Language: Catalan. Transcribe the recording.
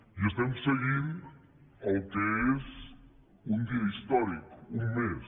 i estem seguint el que és un dia històric un més